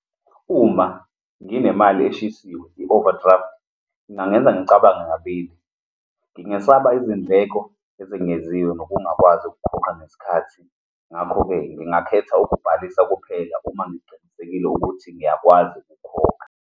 Uma nginemali eshisiwe, i-overdraft ingangenza ngicabange kabili. Ngingesaba izindleko ezengeziwe nokungakwazi ukukhoqa ngesikhathi. Ngakho-ke, ngingakhetha ukubhalisa kuphela uma ngiqinisekile ukuthi ngiyakwazi ukukhokha.